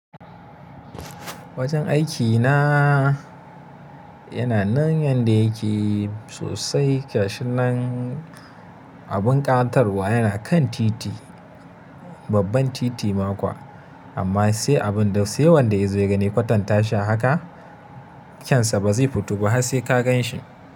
Wajen aikina yana nan yanda yake sosai gashin nan. Abin ƙawatarwa yana kan titi, babban titi ma kuwa amma sai abin da sai wanda ya zo gani kwatan tashi haka, kyansa ba zai fito ba har sai ka gan shi.